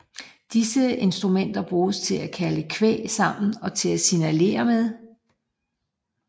Disse instrumenter brugtes til at kalde kvæg sammen og til at signalere med